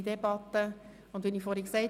Wir führen eine reduzierte Debatte.